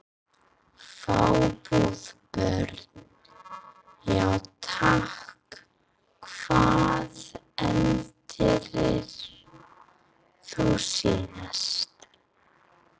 Fjarbúð Börn: Já takk Hvað eldaðir þú síðast?